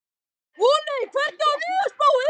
Voney, hvernig er veðurspáin?